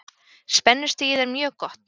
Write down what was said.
Spennustigið er mjög gott.